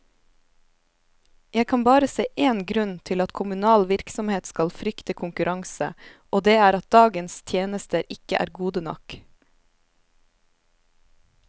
Jeg kan bare se én grunn til at kommunal virksomhet skal frykte konkurranse, og det er at dagens tjenester ikke er gode nok.